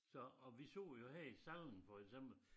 Så og vi så jo her i Salling for eksempel